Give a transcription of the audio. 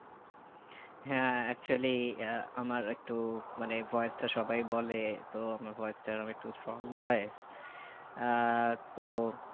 হ্যাঁ actually ah আমার একটু মানে voice তা সবাই বলে তো আমার voice টা এইরকম একটু strong voice আহ তো